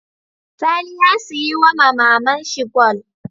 Sani ya siya wama maman shi gwal